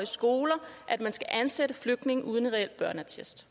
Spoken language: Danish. skoler at man skal ansætte flygtninge uden en reel børneattest